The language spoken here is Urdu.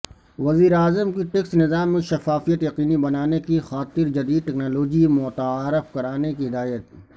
وزیراعظم کی ٹیکس نظام میں شفافیت یقینی بنانے کی خاطرجدیدٹیکنالوجی متعارف کرانے کی ہدایت